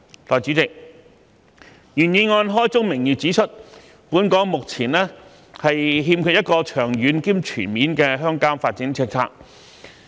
代理主席，原議案開宗明義指出，本港目前欠缺一個長遠及全面的鄉郊發展政策。